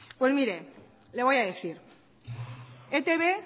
pues mire le voy a decir etb